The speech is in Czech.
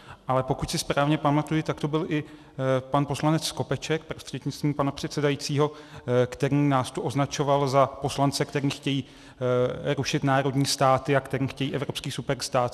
Ale pokud si správně pamatuji, tak to byl i pan poslanec Skopeček prostřednictvím pana předsedajícího, který nás tu označoval za poslance, kteří chtějí rušit národní státy a kteří chtějí evropský superstát.